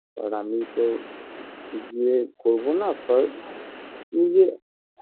আর আমি তো বিয়ে করবো না পার নিজে